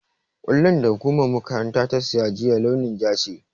Ƙwallon da hukumar makarantar ta siya juya, launin ja ce.